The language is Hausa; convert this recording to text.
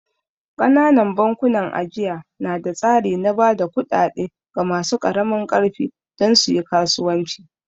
Ƙananan bankunan ajiya na da tsari na ba da kuɗaɗe ga masu ƙaramin ƙarfi don su yi kasuwanci